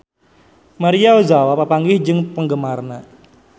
Maria Ozawa papanggih jeung penggemarna